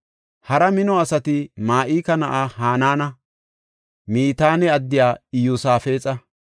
Hara mino asati Ma7ika na7aa Hanaana, Mitaane addiya Iyosaafexa,